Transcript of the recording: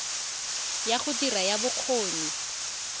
ya go dira ya bokgoni